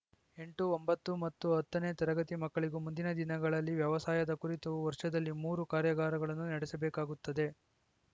ಎಂಟು ಒಂಬತ್ತು ಮತ್ತು ಹತನೇ ತರಗತಿ ಮಕ್ಕಳಿಗೂ ಮುಂದಿನ ದಿನಗಳಲ್ಲಿ ವ್ಯವಸಾಯದ ಕುರಿತು ವರ್ಷದಲ್ಲಿ ಮೂರು ಕಾರ್ಯಾಗಾರಗಳನ್ನು ನಡೆಸಬೇಕಾಗುತ್ತದೆ